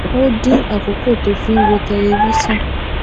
ó dín àkókò tó fi ń wo tẹlifíṣòn